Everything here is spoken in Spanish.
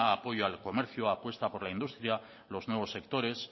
apoyo al comercio apuesta por la industria los nuevos sectores